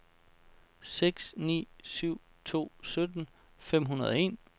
seks ni syv to sytten fem hundrede og en